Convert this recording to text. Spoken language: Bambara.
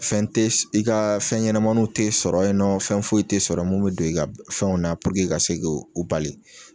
Fɛn tɛ i ka fɛn ɲɛnamaninw tɛ sɔrɔ yen nɔ fɛn foyi tɛ sɔrɔ mun bɛ don i ka fɛnw na puruke ka se ko o bali.